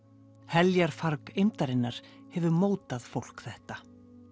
heljarfarg eymdarinnar hefur mótað fólk þetta